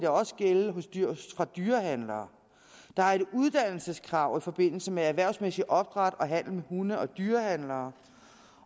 også gælde for dyrehandlere der er et uddannelseskrav i forbindelse med erhvervsmæssig opdræt og handel med hunde for dyrehandlere